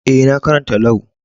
Eh, na karanta Lau.